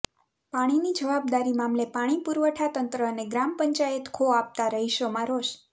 પાણીની જવાબદારી મામલે પાણી પુરવઠા તંત્ર અને ગ્રામ પંચાયત ખો આપતા રહીશોમાં રોષ